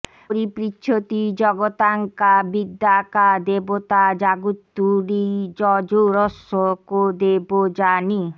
পরিপৃচ্ছতি জগতাং কা বিদ্যা কা দেবতা জাগ্রত্তুরীযযোরস্য কো দেবো যানি